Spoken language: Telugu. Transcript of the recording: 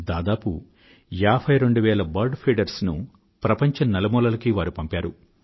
దాదాపు ఏభై రెండు వేల బర్డ్ ఫీడర్స్ ను ప్రపంచం నలుమూలలకీ వారు పంపారు